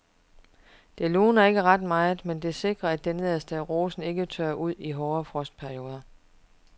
Det luner ikke ret meget, men det sikrer at det nederste af rosen ikke tørrer ud i hårde frostperioder.